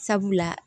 Sabula